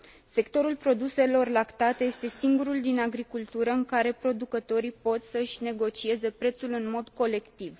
Sectorul produselor lactate este singurul din agricultură în care producătorii pot să își negocieze prețul în mod colectiv.